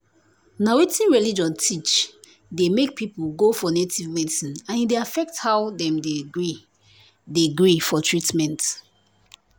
na wetin religion teach dey make people go for native medicine and e dey affect how dem dey gree dey gree for treatment.